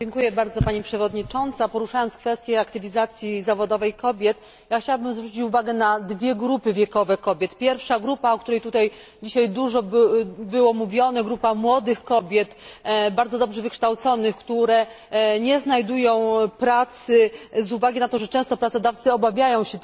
Poruszając kwestię aktywizacji zawodowej kobiet, chciałabym zwrócić uwagę na dwie grupy wiekowe kobiet pierwsza grupa, o której tutaj dzisiaj wiele mówiono, to grupa młodych kobiet, bardzo dobrze wykształconych, które nie znajdują pracy z uwagi na to, że często pracodawcy obawiają się kosztów związanych z